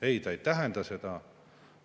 Ei, see ei tähenda seda.